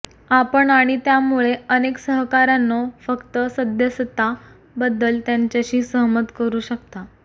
आपण आणि त्यामुळे अनेक सहकाऱ्यांनो फक्त सदस्यता बद्दल त्यांच्याशी सहमत करू शकता